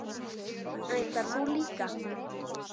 Ætlar þú líka?